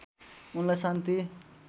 उनलाई शान्ति